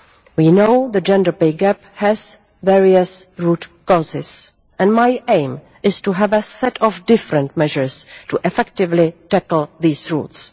We know the gender pay gap has various root causes and my aim is to have a set of different measures to effectively tackle these roots.